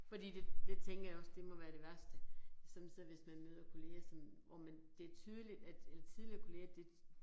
Fordi det det tænker jeg også, det må være det værste, at sådan så hvis man møder kollegaer, sådan hvor man, det tydeligt at eller tidligere kollegaer det